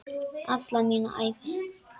Alla mína ævi.